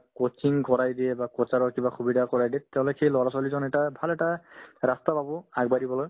coaching কৰাই দিয়ে বা coach ৰৰ কিবা সুবিধা কৰাই দিয়ে তেওঁলোকে সেই ল'ৰা-ছোৱালীজন এটা ভাল এটা ৰাস্তা পাব আগবাঢ়িবলৈ